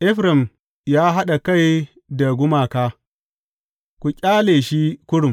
Efraim ya haɗa kai da gumaka; ku ƙyale shi kurum!